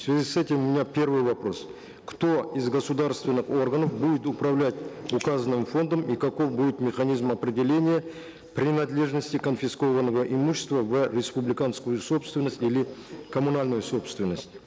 в связи с этим у меня первый вопрос кто из государственных органов будет управлять указанным фондом и каков будет механизм определения принадлежности конфискованного имущества в республиканскую собственность или коммунальную собственность